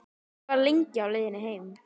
Ég var lengi á leiðinni heim.